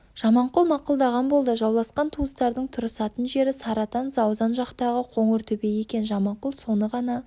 жаманқұл мақұлдаған болды жауласқан туыстардың тұрысатын жері сарыатан заузан жақтағы қоңыр төбе екен жаманқұл соны ғана